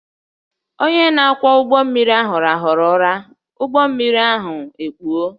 Onye na-akwọ ụgbọ mmiri ahụ rahụrụ ụra, ụgbọ mmiri ahụ ekpuo